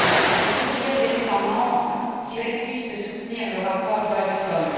Et que dire des États membres qui refusent de soutenir le rapport Goldstone?